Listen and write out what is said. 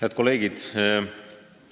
Head kolleegid!